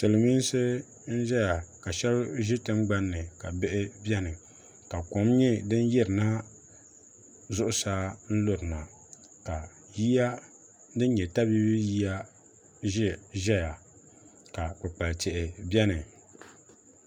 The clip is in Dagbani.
silmiinsi n ʒɛya ka shab ʒi tingbanni ka shab biɛni ka kom nyɛ din lurina zuɣusa n lurina ka yiya din nyɛ tabiibi yiya ʒɛya ka kpukpali tihi biɛni